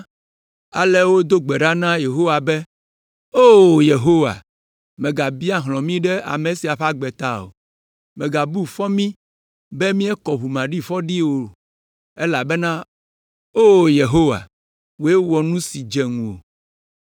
Ale wodo gbe ɖa na Yehowa be, “O Yehowa, mègabia hlɔ̃ mi ɖe ame sia ƒe agbe ta o. Mègabu fɔ mí be míekɔ ʋu maɖifɔ ɖi o, elabena, O Yehowa, wòe wɔ nu si dze ŋuwò.”